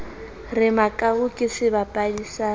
re makau ke sebapadi sa